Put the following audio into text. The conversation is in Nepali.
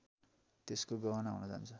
त्यसको गहना हुन जान्छ